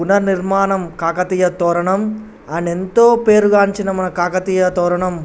పునర నిర్మాణం కాకతీయ తోరణం ఆయన ఎంతో పేరుగాంచిన మన కాకతీయ తోరణం.